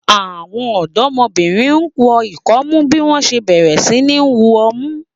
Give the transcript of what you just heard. Àwọn ọ̀dọ́mọbìnrin wọ ikomu bí wọ́n ṣe bẹ̀rẹ̀ sí ní wu ọmú